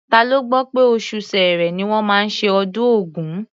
Ta ló gbọ́ pé oṣù Ṣẹẹrẹ ni wọ́n máa ṣe ọdún Ògún?